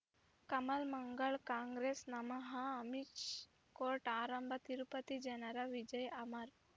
ಕಮಲ್ ಮಂಗಳ್ ಕಾಂಗ್ರೆಸ್ ನಮಃ ಅಮಿಷ್ ಕೋರ್ಟ್ ಆರಂಭ ತಿರುಪತಿ ಜನರ ವಿಜಯ ಅಮರ್